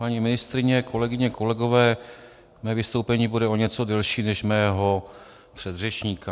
Paní ministryně, kolegyně, kolegové, mé vystoupení bude o něco delší než mého předřečníka.